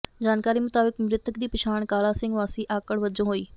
ਜਾਣਕਾਰੀ ਮੁਤਾਬਕ ਮ੍ਰਿਤਕ ਦੀ ਪਛਾਣ ਕਾਲਾ ਸਿੰਘ ਵਾਸੀ ਆਕੜ ਵਜੋਂ ਹੋਈ